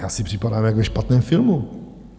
Já si připadám jak ve špatném filmu!